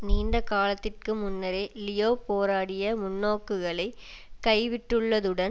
நீண்ட காலத்திற்கு முன்னரே லியோ போராடிய முன்னோக்குகளை கைவிட்டுள்ளதுடன்